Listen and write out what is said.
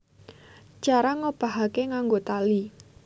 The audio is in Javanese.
Cara ngobahake nganggo tali